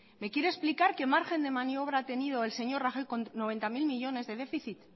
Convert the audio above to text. me quiere explicar qué margen de maniobra ha tenido el señor rajoy con noventa mil millónes de déficit